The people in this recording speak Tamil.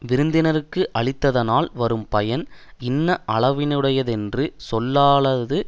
விருந்தினர்க்கு அளித்ததனால் வரும் பயன் இன்ன அளவினையுடைத்தென்று சொல்லலாவது